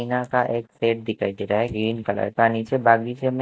tin आका एक shed दिखाई दे रहा है ग्रीन कलर का नीचे बागीचे म--